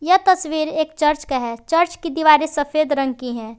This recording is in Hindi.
यह तस्वीर एक चर्च का है चर्च की दीवारें सफेद रंग की है।